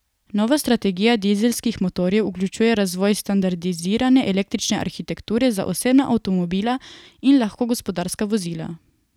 Nova strategija dizelskih motorjev vključuje razvoj standardizirane električne arhitekture za osebna avtomobila in lahka gospodarska vozila.